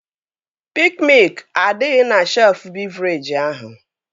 Piik miụk adịghị na shelfụ bịvrejị ahụ